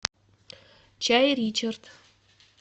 чай ричард